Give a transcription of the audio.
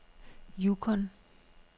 Yukon